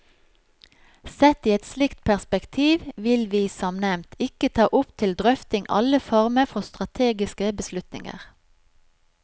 Sett i et slikt perspektiv vil vi, som nevnt, ikke ta opp til drøfting alle former for strategiske beslutninger.